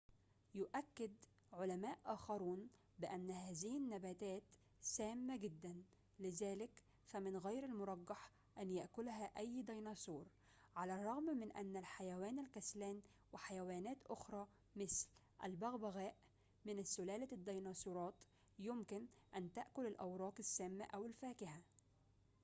يؤكد علماء آخرون بأن هذه النباتات سامة جدّاً، لذلك فمن غير المرجح أن يأكلها أي ديناصور، على الرغم من أن الحيوان الكسلان وحيوانات أخرى مثل الببغاء من سلالة الديناصورات يمكن أن تأكل الأوراق السامة أو الفاكهة